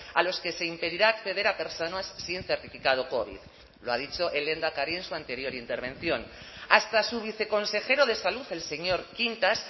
a los que se impedirá acceder a personas sin certificado covid lo ha dicho el lehendakari en su anterior intervención hasta su viceconsejero de salud el señor quintas